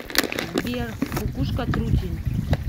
сбер кукушка трутень